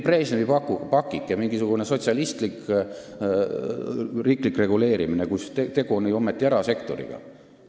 See on mingi Brežnevi pakike, mingisugune sotsialistlik riiklik reguleerimine, kuigi tegu on erasektoriga.